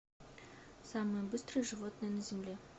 самое быстрое животное на земле